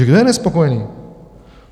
Takže kdo je nespokojený?